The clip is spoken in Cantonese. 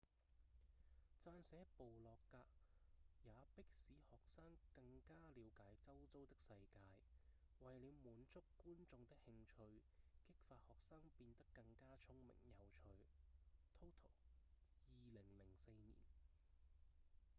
撰寫部落格也「迫使學生更加了解周遭的世界」為了滿足觀眾的興趣激發學生變得更加聰明有趣 toto2004 年